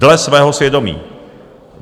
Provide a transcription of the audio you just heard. Dle svého svědomí.